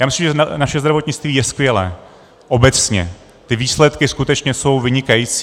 Já myslím, že naše zdravotnictví je skvělé obecně, ty výsledky skutečně jsou vynikající.